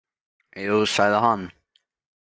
Jú, sagði hann.